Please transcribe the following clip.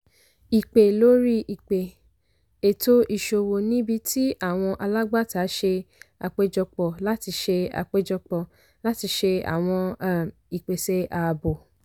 ìpè lórí ìpè - ètò ìṣòwò níbi tí àwọn alágbàtà ṣe àpéjọpọ̀ láti ṣe àpéjọpọ̀ láti ṣe àwọn um ìpèsè àábò.